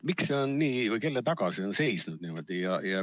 Miks see nii on või kelle taga see on seisnud?